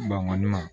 Ban kɔni